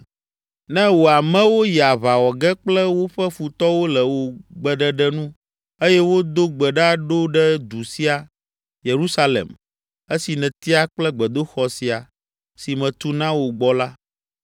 “Ne wò amewo yi aʋa wɔ ge kple woƒe futɔwo le wò gbeɖeɖe nu eye wodo gbe ɖa ɖo ɖe du sia, Yerusalem, esi nètia kple gbedoxɔ sia, si metu na wò gbɔ la,